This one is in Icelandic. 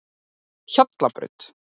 Hjallabraut